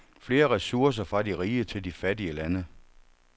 Flere ressourcer fra de rige til de fattige lande.